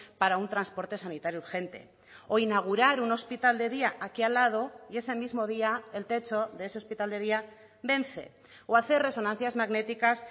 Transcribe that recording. para un transporte sanitario urgente o inaugurar un hospital de día aquí al lado y ese mismo día el techo de ese hospital de día vence o hacer resonancias magnéticas